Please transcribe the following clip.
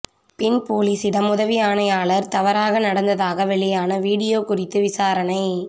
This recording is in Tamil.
பெண் போலீசிடம் உதவி ஆணையாளர் தவறாக நடந்ததாக வெளியான விடியோ குறித்து விசாரணை